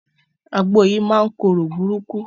Àgbò yìí máa ń korò burúkú.